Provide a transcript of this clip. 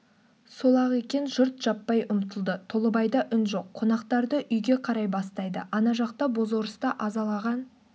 сол-ақ екен жұрт жаппай ұмтылды толыбайда үн жоқ қонақтарды үйге қарай бастайды ана жақта бозорысты азалаған